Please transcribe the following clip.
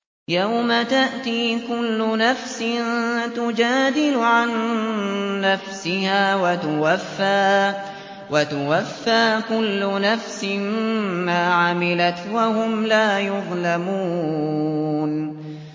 ۞ يَوْمَ تَأْتِي كُلُّ نَفْسٍ تُجَادِلُ عَن نَّفْسِهَا وَتُوَفَّىٰ كُلُّ نَفْسٍ مَّا عَمِلَتْ وَهُمْ لَا يُظْلَمُونَ